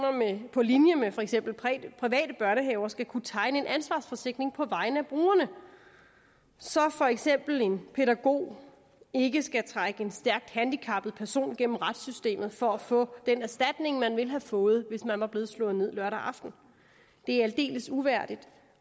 på linje med for eksempel private børnehaver skal kunne tegne en ansvarsforsikring på vegne af brugerne så for eksempel en pædagog ikke skal trække en stærkt handicappet person gennem retssystemet for at få den erstatning man ville have fået hvis man var blevet slået ned lørdag aften det er aldeles uværdigt